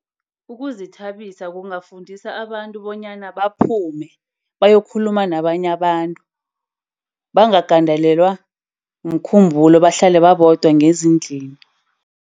Ukuzithabisa kungafundisa abantu bonyana baphume bayakhuluma nabanye abantu. Bangagandelelwa mkhumbulo, bahlale babodwa ngezindlini.